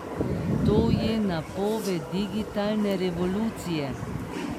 To je napoved digitalne revolucije!